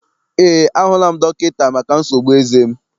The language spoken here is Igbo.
Eé, a hụla m dọkịta maka nsogbu eze m.